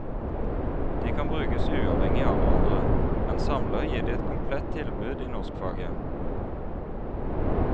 De kan brukes uavhengig av hverandre, men samlet gir de et komplett tilbud i norskfaget.